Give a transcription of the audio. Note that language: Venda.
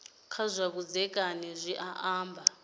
kha zwa vhudzekani zwi amba